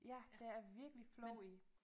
Ja der er virkelig flow i